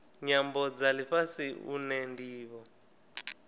nyambo dza lifhasi une ndivho